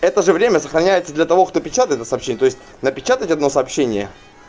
это же время сохраняется для того кто печатает это сообщение то есть напечатать одно сообщение